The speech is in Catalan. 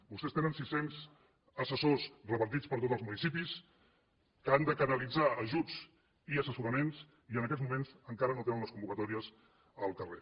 vostès tenen sis cents assessors repartits per tots els municipis que han de canalitzar ajuts i assessoraments i en aquests moments encara no tenen les convocatòries al carrer